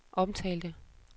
omtalte